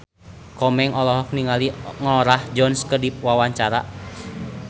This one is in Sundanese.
Komeng olohok ningali Norah Jones keur diwawancara